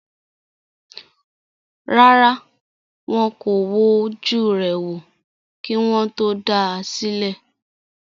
Rárá, wọn kò wojú rẹ̀ wò, kí wọ́n tó dá a sílẹ̀